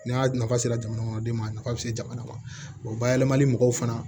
N'a nafa sera jamana kɔnɔ den ma a nafa be se jamana ma bayɛlɛmali mɔgɔw fana